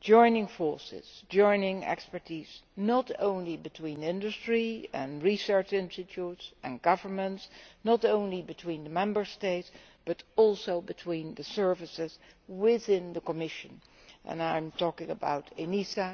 joining forces and joining expertise, not only between industry and research institutes and governments, not only between the Member States, but also between the services within the Commission and I am talking about ENISA,